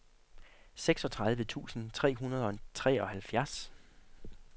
seksogtredive tusind tre hundrede og treoghalvfjerds